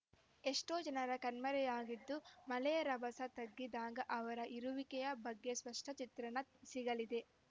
ಎಷ್ಟೋ ಜನ ಕಣ್ಮರೆಯಾಗಿದ್ದು ಮಳೆಯ ರಭಸ ತಗ್ಗಿದಾಗ ಅವರ ಇರುವಿಕೆಯ ಬಗ್ಗೆ ಸ್ಪಷ್ಟಚಿತ್ರಣ ಸಿಗಲಿದೆ